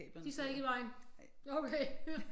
De sad ikke i vejen nå okay